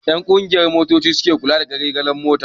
Ƴan ƙungiyan motoci su suke kula da garejin-mota.